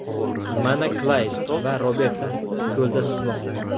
Mana Klayd va Roberta ko‘lda suzmoqda.